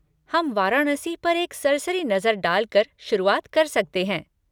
हम वाराणसी पर एक सरसरी नजर डालकर शुरुआत कर सकते हैं।